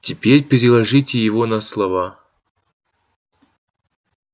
теперь переложите его на слова